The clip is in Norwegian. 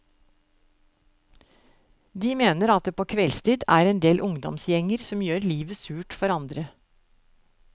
De mener at det på kveldstid er endel ungdomsgjenger som gjør livet surt for andre.